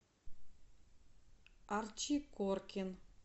арчи коркин